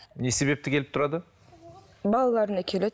не себепті келіп тұрады балаларына келеді